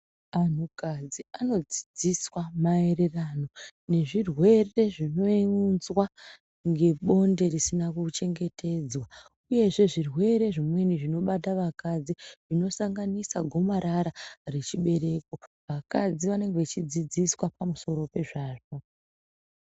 Anhu kadzi anodzidziswa mayererano nezvirwere zvinounzwa nge bonde risina kuchengetedzwa uyezve zvirwere zvimweni zvinobata vakadzi zvinosanganisa gomarara rechibereko, vakadzi vanenge vechidzidziswa pamsoro pezvazvo.